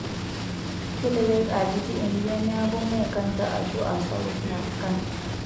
Kelelek aa kiti enjian neeku mee kansa aashu aa sapuk neeku kansa.